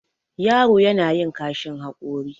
yaro yana yin kashin haƙori